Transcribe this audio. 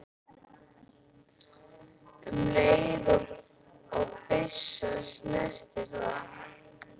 um leið og byssa snertir það.